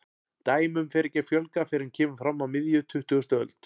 Dæmum fer ekki að fjölga fyrr en kemur fram á miðja tuttugustu öld.